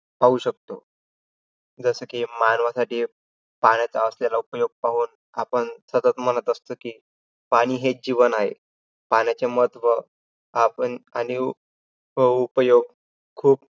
पाहू शकतो. जसं की, मानवासाठी पाण्यासाठी असलेला उपयोग पाहून आपण सतत म्हणत असतो कि, पाणी हेच जीवन आहे. पाण्याचे महत्व आपण आणि व उपयोग खूप